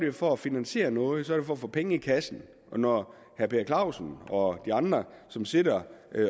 jo for at finansiere noget og for at få penge i kassen og når herre per clausen og de andre som sidder